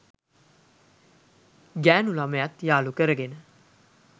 ගැණු ළමයත් යාළු කරගෙන